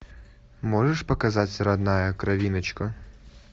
можешь показать родная кровиночка